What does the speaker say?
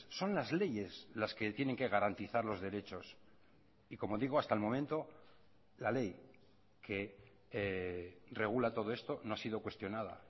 son las leyes las que tienen que garantizar los derechos y como digo hasta el momento la ley que regula todo esto no ha sido cuestionada